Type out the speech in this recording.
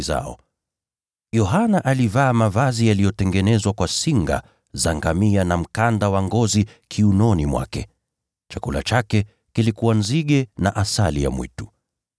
Yohana alivaa mavazi yaliyotengenezwa kwa singa za ngamia na mkanda wa ngozi kiunoni mwake. Chakula chake kilikuwa nzige na asali ya mwitu.